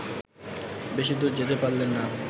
বেশিদূর যেতে পারলেন না